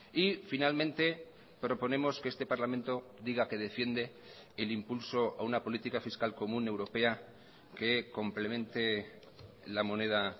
y finalmente proponemos que este parlamento diga que defiende el impulso a una política fiscal común europea que complemente la moneda